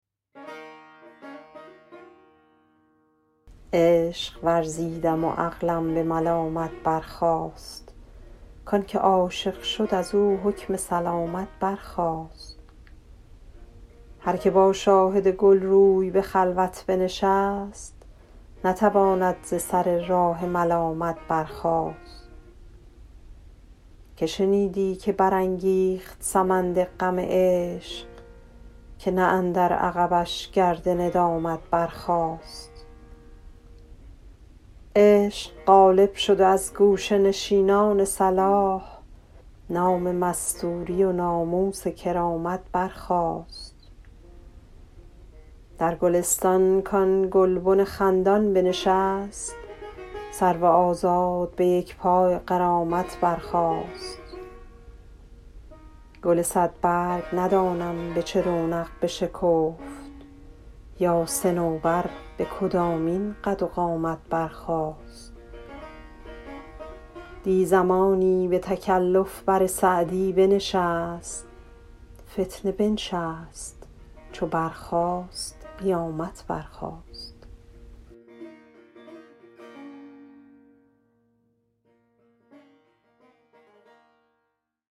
عشق ورزیدم و عقلم به ملامت برخاست کان که عاشق شد از او حکم سلامت برخاست هر که با شاهد گل روی به خلوت بنشست نتواند ز سر راه ملامت برخاست که شنیدی که برانگیخت سمند غم عشق که نه اندر عقبش گرد ندامت برخاست عشق غالب شد و از گوشه نشینان صلاح نام مستوری و ناموس کرامت برخاست در گلستانی کآن گلبن خندان بنشست سرو آزاد به یک پای غرامت برخاست گل صدبرگ ندانم به چه رونق بشکفت یا صنوبر به کدامین قد و قامت برخاست دی زمانی به تکلف بر سعدی بنشست فتنه بنشست چو برخاست قیامت برخاست